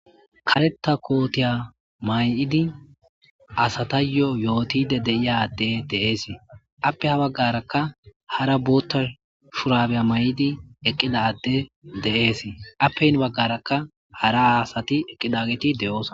kareta kootiya may7idi asatayyo yootide deiya adde deees appe ha baggarakka hara bootta shurabeya may7idi eqqida adde de7ees appehin baggarakka hara haasati eqqidageti de7oosa